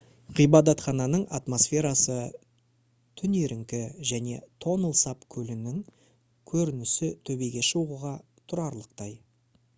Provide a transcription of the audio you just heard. ғибадатхананың атмосферасы түнеріңкі және тонл сап көлінің көрінісі төбеге шығуға тұрарлықтай